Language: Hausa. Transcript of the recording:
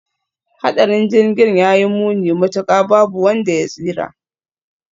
Hadarin Jirgin ya yi muni matuka, babu wanda ya tsira.